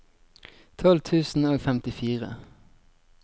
tolv tusen og femtifire